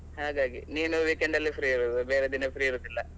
ಹಾಗಾಗಿ ನೀನು weekend ಅಲ್ಲಿ free ಇರೋದು ಬೇರೆ ದಿನ free ಇರುದಿಲ್ಲ.